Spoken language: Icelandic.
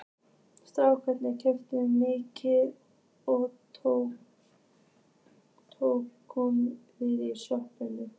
Strákarnir keyptu miða og Tóti kom við í sjoppunni.